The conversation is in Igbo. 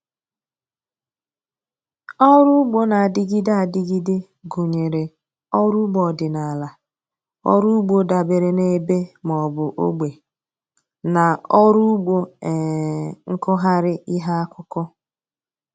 Ọrụ ugbo na-adịgide adịgide gụnyere ọrụ ugbo ọdịnaala, ọrụ ugbo dabeere n'ebe maọbụ ogbe, na ọrụ ugbo um nkụgharị ihe akụkụ